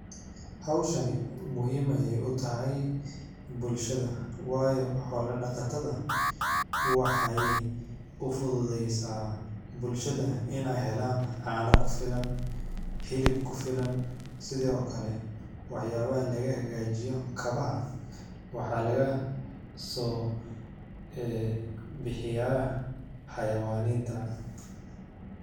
Howshani muhim ay utahay bulshada, wayo xola daqatada waxay ufudhudeysa bulshada inay helan cano kufilan, helab kufilan sidho kale waxyala laga hagajiyo kabaha, waxa lagaso bixiya xayawaninta.